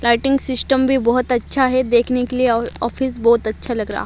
lighting system भी बहुत अच्छा है देखने के लिए और ऑफिस बहुत अच्छा लग रहा--